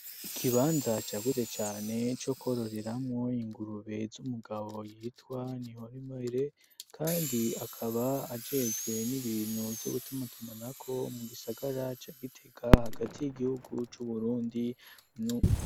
Ikibanza cagutse cane co kororeramo ingurube z'umugabo yitwa nihorimbere kandi akaba ajejwe n'ibintu byo gutumatumana ko mu gisagara ca Gitega hagati y'igihugu c'uburundi.